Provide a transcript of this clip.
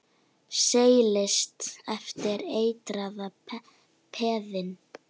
Seilist eftir eitraða peðinu.